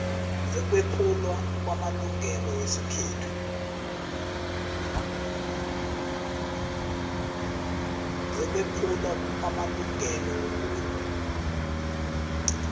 zokwephulwa kwamalungelo wobuntu